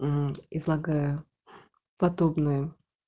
угу излагаю подобное